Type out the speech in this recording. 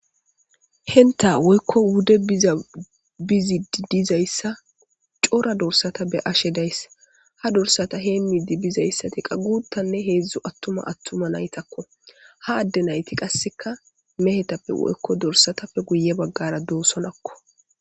Henta woykko wude biza bizidi dizayssa cora dorsata be ashe days ha dorsata heemmi di bizayssati qagutanne heedzdzu attuma attuma naytakko ha adde nayti qasseka mehetappe woykko dorsatappe guye baggara doosonakko.